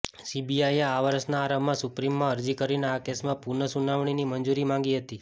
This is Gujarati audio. સીબીઆઈએ આ વર્ષના આરંભમાં સુપ્રીમમાં અરજી કરીને આ કેસમાં પુનઃસુનાવણીની મંજૂરી માંગી હતી